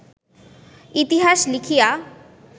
ইতিহাস লিখিয়া